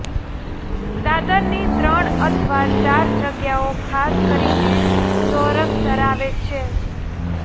દાદરની ત્રણ અથવા ચાર જગ્યાઓ ખાસ કરીને ચોરસ ધરાવે છે